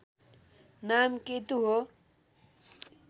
नाम केतु हो